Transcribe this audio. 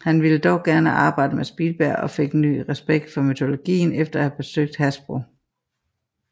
Han ville dog gerne arbejde med Spielberg og fik ny respekt for mytologien efter at have besøgt Hasbro